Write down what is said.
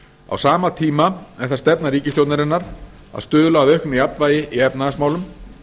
á sama tíma er það stefna ríkisstjórnarinnar að stuðla að auknu jafnvægi í efnahagsmálum